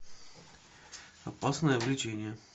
опасное увлечение